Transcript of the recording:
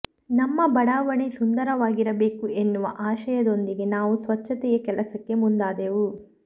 ನಮ್ಮ ಬಡಾವಣೆ ಸುಂದರವಾಗಿರಬೇಕು ಎನ್ನುವ ಆಶಯದೊಂದಿಗೆ ನಾವು ಸ್ವಚ್ಚತೆಯ ಕೆಲಸಕ್ಕೆ ಮುಂದಾದೆವು